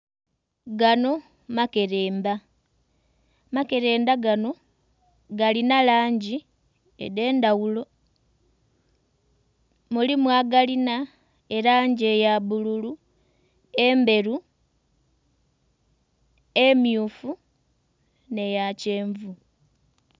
Gano makelenda. Makelenda gano galina langi edh'endhaghulo. Mulimu agalina elangi eya bbululu, endheru, emmyufu, nh'eya kyenvu.